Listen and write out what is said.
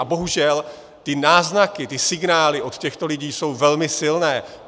A bohužel ty náznaky, ty signály od těchto lidí jsou velmi silné.